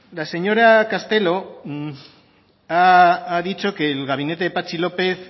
la señora castelo ha dicho que el gabinete de patxi lópez